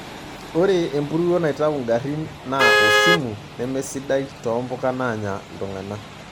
Ore empuruo naitayu ngarin naa osimu nemesidai toompuka naanya iltung'ana.